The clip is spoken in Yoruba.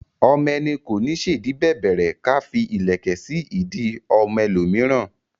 Ọmọ ẹni kò ní ṣèdí bẹ̀bẹ̀rẹ̀ ká fí ìlẹ̀kẹ̀ sí ìdí ọmọ ẹ lò míràn